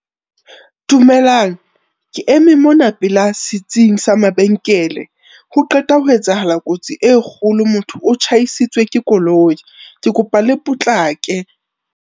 Dumelang, ke eme mona pela setsing sa mabenkele. Ho qeta ho etsahala kotsi e kgolo, motho o tjhaisitswe ke koloi. Ke kopa le potlake.